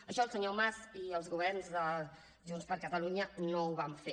això el senyor mas i els governs de junts per catalunya no ho van fer